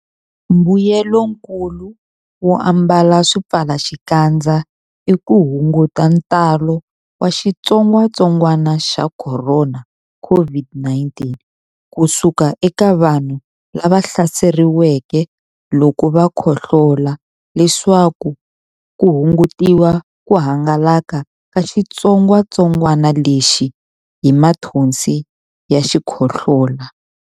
Mbuyelonkulu wo ambala swipfalaxikandza i ku hunguta ntalo wa xitsongwantsongwana xa Khorona, COVID-19, ku suka eka vanhu lava hlaseriweke loko va khohlola leswaku ku hungutiwa ku hangalaka ka xitsongwantsongwana lexi hi mathonsi ya xikhohlola.